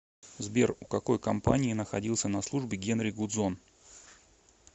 сбер у какой компании находился на службе генри гудзон